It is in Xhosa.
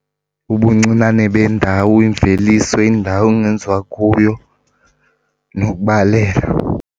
Ubuncinane bendawo, imveliso, indawo okungenziwa kuyo nokubaluleka.